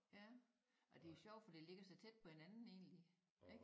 Ja ej det sjovt for det ligger så tæt på hinanden egentlig ikke?